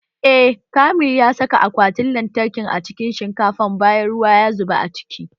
Eh, Kamil ya saka akwatin lantarkin a cikin shinkafa bayan ruwa ya zuba a ciki